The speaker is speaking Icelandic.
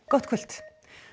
gott kvöld